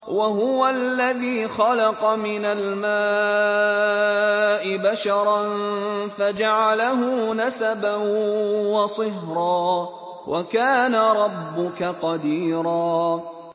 وَهُوَ الَّذِي خَلَقَ مِنَ الْمَاءِ بَشَرًا فَجَعَلَهُ نَسَبًا وَصِهْرًا ۗ وَكَانَ رَبُّكَ قَدِيرًا